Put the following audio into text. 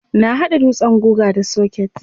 Na hada dutsen guga da soket.